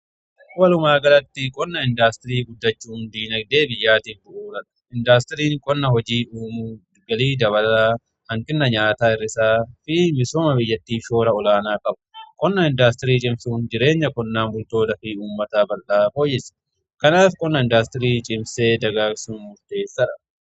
Walumaa galatti qonna indaastirii guddachuun dinagdee biyyaatiif bu'uura. Indaastiriin qonna hojii uumuun galii dabala. Hanqina nyaataa hir'isaa fi misooma biyyattiif shoora olaanaa qaba. Qonna indaastirii cimsuun jireenya qonnaan bultootaa fi uummata bal'aa fooyyessa. Kanaaf qonna indaastirii cimsinee dagaagsuun murteessaadha.